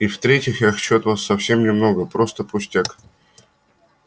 и в-третьих я хочу от вас совсем немного просто пустяк